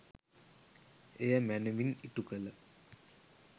එය මැනවින් ඉටුකළ